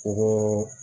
Ko